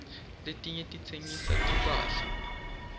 letinye titsengisa timphahla